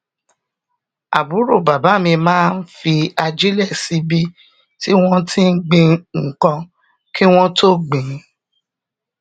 àbúrò bàbá mi máa fi ajílè síbi tí wón ti gbin nǹkan kí wón tó gbìn ín